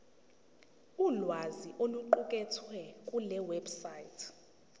ulwazi oluqukethwe kulewebsite